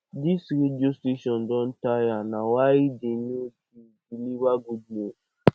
dis radio station don tire na why no dey deliver good news